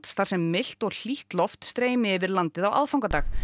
þar sem milt og hlýtt loft streymi yfir landið á aðfangadag